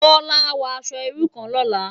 Bola á wò aṣò irú kán lòlá